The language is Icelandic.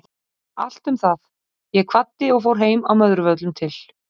Allt um það, ég kvaddi og fór heim að Möðruvöllum til